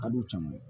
A dun caman